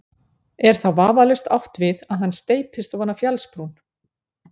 Er þá vafalaust átt við að hann steypist ofan af fjallsbrún.